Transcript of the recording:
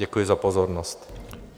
Děkuji za pozornost.